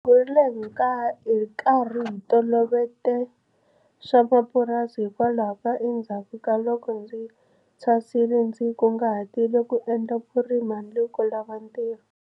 Hi kurile hi karhi hi titoloveta swa mapurasi, hikwalaho endzhaku ka loko ndzi thwasile ndzi kunguhatile ku endla vurimi handle ko lava ntirho.